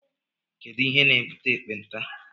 Kedụ ihe na-ebute ekpenta?